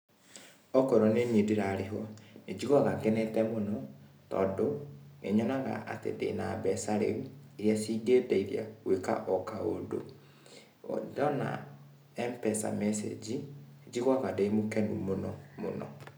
Okorwo nĩ niĩ ndĩrarĩhwo, ni njiguaga ngenete mũno, tondũ nĩ nyonaga atĩ ndĩ na mbeca rĩũ, iria cingĩndeithia gwĩka o kaũndũ. Ndona M-pesa message ,njiguaga ndĩ mũkenu mũno mũno.